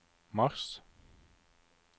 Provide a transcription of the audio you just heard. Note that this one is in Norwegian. mars